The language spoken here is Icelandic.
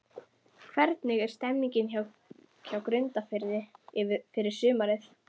Hvernig er stemningin hjá Grundarfirði fyrir sumarið?